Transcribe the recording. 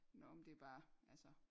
Nåh men det er bare altså